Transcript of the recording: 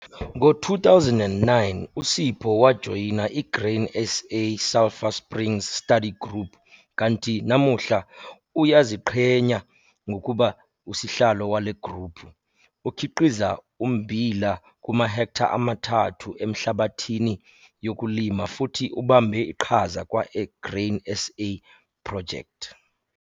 Ngo-2009 uSipho wajoyina i-Grain SA Sulpher Springs Study Group kanti namuhla uyaziqhenya ngokuba usihlalo wale gruphu. Ukhiqiza ummbila kumahektha amathathu enhlabathini yokulima futhi ubambe iqhaza kwa-Grain SA Project.